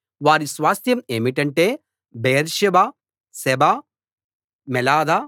వారి స్వాస్థ్యం ఏమిటంటే బెయేర్షెబా షెబ మోలాదా